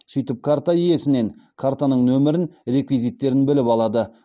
сөйтіп карта иесінен картаның нөмірін реквизиттерін біліп алады